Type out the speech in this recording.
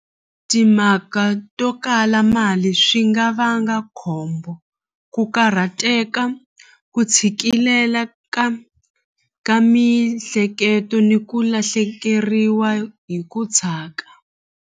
Timhaka to kala mali swi nga vanga khombo ku karhateka ku tshikilela ka ka mihleketo ni ku lahlekeriwa hi ku .